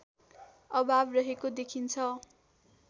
अभाव रहेको देखिन्छ